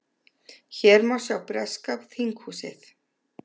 Hér má sjá breska þinghúsið.